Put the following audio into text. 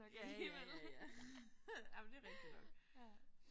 Ja ja ja ja jamen det er rigtigt nok